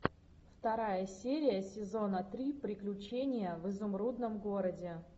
вторая серия сезона три приключения в изумрудном городе